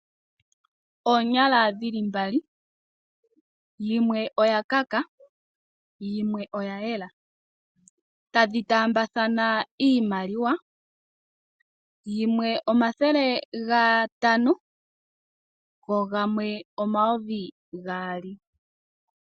Oonyala dhili mbali. Yimwe oya kaka, yimwe oya yela. Tadhi taambathana iimaliwa, yimwe omathele ga tano go gamwe omayovi gaali.